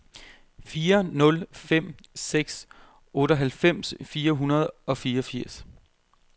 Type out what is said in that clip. fire nul fem seks otteoghalvfems fire hundrede og fireogfirs